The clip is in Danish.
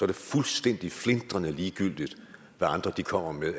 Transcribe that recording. det fuldstændig flintrende ligegyldigt hvad andre kommer med af